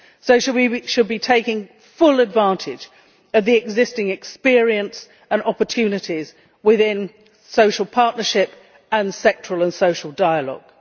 So we should be taking full advantage of the existing experience and opportunities within social partnership and sectoral and social dialogue.